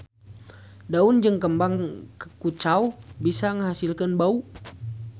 Daun jeung kembang kucau bisa ngahasilkeun bau.